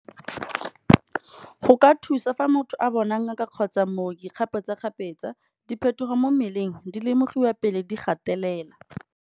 Go ka thusa fa motho a bona ngaka kgotsa mmoki kgapetsa-kgapetsa, diphetogo mo mmeleng di lemogiwa pele di gatelela.